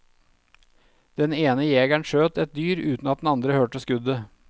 Den ene jegeren skjøt et dyr uten at den andre hørte skuddet.